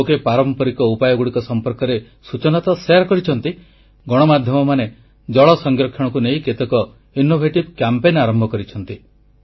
ଲୋକେ ପାରମ୍ପରିକ ଉପାୟଗୁଡ଼ିକ ସମ୍ପର୍କରେ ସୂଚନା ତ ପ୍ରଦାନ କରିଛନ୍ତି ଗଣମାଧ୍ୟମମାନେ ଜଳ ସଂରକ୍ଷଣକୁ ନେଇ କେତେକ ଅଭିନବ ଅଭିଯାନ ଆରମ୍ଭ କରିଛନ୍ତି